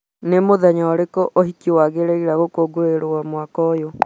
nĩ mũthenya ũrĩkũ ũhiki wagĩrĩire gũkũngũĩrwo mwaka ũyũ?